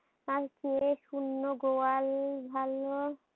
তারচেয়ে শূন্য গোয়াল ভালো।